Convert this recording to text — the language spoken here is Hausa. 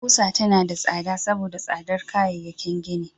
Ƙusa tana tsada saboda tsadar kayayyakin gini.